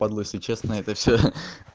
падлу если честно это все ха